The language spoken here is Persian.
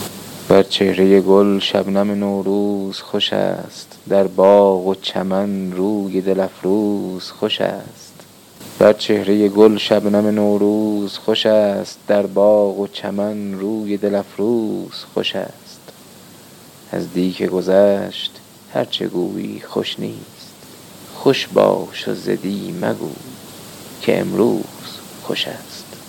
بر چهره گل شبنم نوروز خوشست در باغ و چمن روی دل افروز خوشست از دی که گذشت هرچه گویی خوش نیست خوش باش و ز دی مگو که امروز خوشست